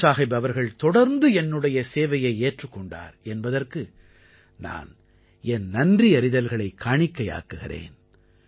குருசாஹிப் அவர்கள் தொடர்ந்து என்னுடைய சேவையை ஏற்றுக் கொண்டார் என்பதற்கு நான் என் நன்றியறிதல்களைக் காணிக்கையாக்குகிறேன்